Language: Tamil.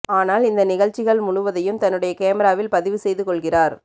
ஆனால் இந்த நிகழ்ச்சிகள் முழுவதையும் தன்னுடைய கேமிராவில் பதிவு செய்து கொள்கிறார்